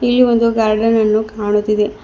ಇಲ್ಲಿ ಒಂದು ಗಾರ್ಡನ್ ಅನ್ನು ಕಾಣುತ್ತಿದೆ.